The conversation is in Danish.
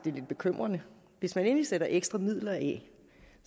lidt bekymrende hvis man endelig sætter ekstra midler af